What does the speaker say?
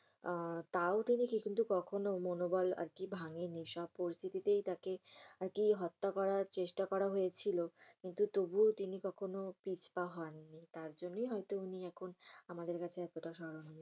আহ তাও তিনি কিন্তু কখনো মনবল ভাঙ্গেনি। সব পরিস্থিতিতে তাকে হত্যা করার চেষ্টা করা হয়েছিল। কিন্তু তবুও তিনি কখনো পিছ পা হননি। তার জন্যই হয়ত তিনি এখন আমাদের কাছে এতটা স্মরণীয়।